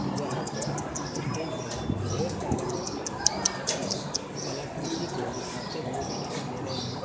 जहां पर स्टेज पर ढेर सारे बच्चे अपनी कलाकृति को दिखाते हुए दिखाई दे रहे हैं।